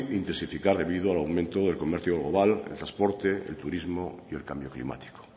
intensificar debido al aumento del comercio global el transporte el turismo y el cambio climático